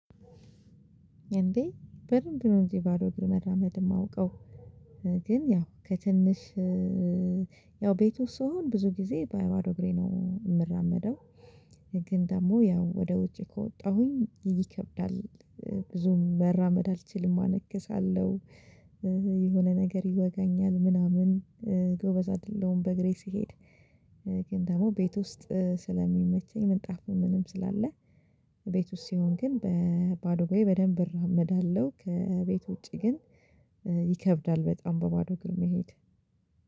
እንዴ በደንብ ነው እንጂ ባዶ እግር መራመድ እማውቀው ግን ያው ከትንሽ ያው ቤት ወስጥ ስሆን ብዙ ጊዜ በባዶ እግሬ ነው የምራመደው። ግን ደግሞ ያው ወደ ውጭ ከወጣሁኝ ይከብዳል ብዙም መራመድ አልችልም አነክሳለሁ። የሆነ ነገር ይወጋኛል ምናምን ጎበዝ አይደለሁም በእግሬ ስሄድ። ግን ደግሞ ቤት ውስጥ ስለሚመቸኝ ምንጣፉ ምንም ስላለ ቤት ውስጥ ሲሆን ግን በባዶ እግሬ በደንብ እራመዳለሁ። ከቤት ውጪ ግን ይከብዳል በጣም በባዶ እግር መሄድ